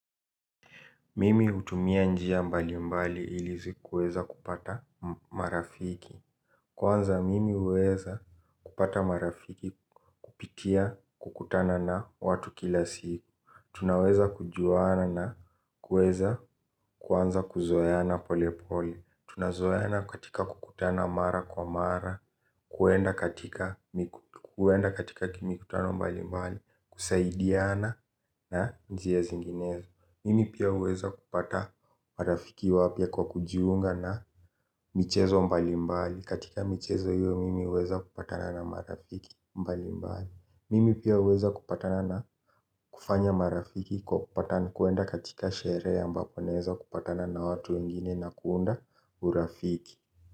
Mimi hutumia njia mbali mbali ili zi kuweza kupata marafiki. Kwanza mimi huweza kupata marafiki kupitia kukutana na watu kila siku. Tunaweza kujuana na kuweza kuanza kuzoeana pole pole. Tunazoeana katika kukutana mara kwa mara. Kuenda katika huenda katika mikutano mbali mbali. Kusaidiana na njia zinginezo. Mimi pia huweza kupata marafiki wapya kwa kujiunga na michezo mbalimbali. Katika michezo hiyo mimi huweza kupatana na marafiki mbalimbali. Mimi pia huweza kupatana na kufanya marafiki kwa kupata na kuenda katika sherehe ambapo naeza kupatana na watu wengine na kuunda urafiki.